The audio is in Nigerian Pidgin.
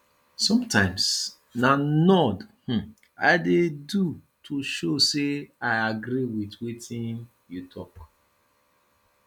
sometimes na nod um i dey do to show sey i agree wit wetin you talk